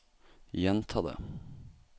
gjenta det